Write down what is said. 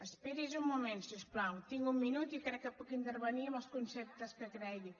esperi’s un moment si us plau tinc un minut i crec que puc intervenir amb els conceptes que cregui